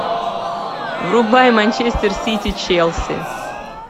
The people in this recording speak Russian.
врубай манчестер сити челси